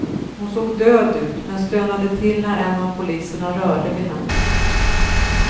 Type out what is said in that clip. Hon såg död ut, men stönade till när en av poliserna rörde vid henne.